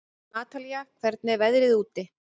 Natalí, hvernig er veðrið úti?